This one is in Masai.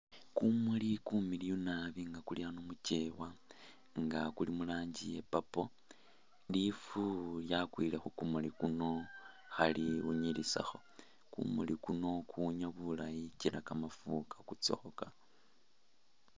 Kumuli kumiliyu naabi nga kuli ano mukyewa nga kuli mulangi iye purple lifu lyakwile kukumuli kuno khaliwunyilitsakho, kumuli kuno kuwunya bulayi kyila kamafu kakutsakho